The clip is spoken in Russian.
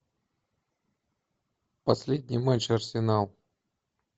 последний матч арсенал